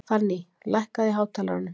Fanný, lækkaðu í hátalaranum.